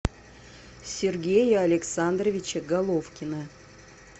сергея александровича головкина